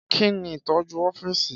Kí ni ìtọ́jú ọ́fíìsì?